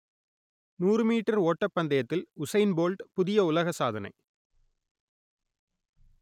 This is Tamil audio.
நூறு மீட்டர் ஓட்டப் பந்தயத்தில் உசைன் போல்ட் புதிய உலக சாதனை